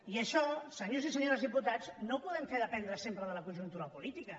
i això senyors i senyores diputats no ho podem fer dependre sempre de la conjunta política